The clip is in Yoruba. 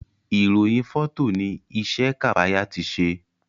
irohin Fọtọ ní isé Kafaya ti ṣe